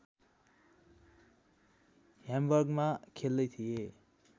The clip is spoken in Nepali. ह्याम्बर्गमा खेल्दै थिए